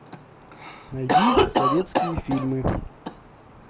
найди советские фильмы